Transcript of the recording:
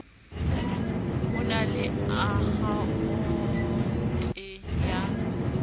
o na le akhaonte ya